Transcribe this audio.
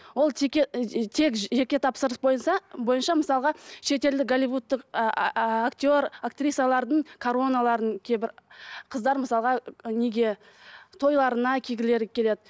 ол тек жеке тапсырыс бойынша мысалға шетелдік голливудтық актер актрисалардың короноларын қыздар мысалға неге тойларына кигілері келеді